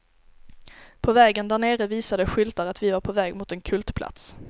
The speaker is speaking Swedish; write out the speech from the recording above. På vägen där nere visade skyltar att vi var på väg mot en kultplats.